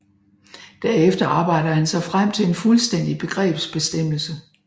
Derefter arbejder han sig frem til en fuldstændig begrebsbestemmelse